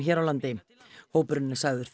hér á landi hópurinn er sagður